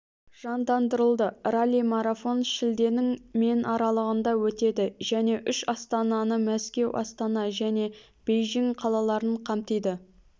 жандандырылды ралли-марафон шілденің мен аралығында өтеді және үш астананы мәскеу астана және бейжің қалаларын қамтиды